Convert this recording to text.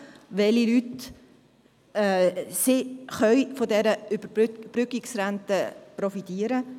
Welche Leute können von dieser Überbrückungsrente profitieren?